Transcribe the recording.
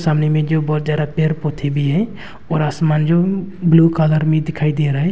सामने में जो बहुत ज्यादा पेड़ पौधे भी हैं और आसमान जो ब्लू कलर में दिखाई दे रहा है।